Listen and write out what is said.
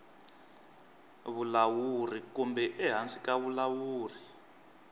vulawuri kumbe ehansi ka vulawuri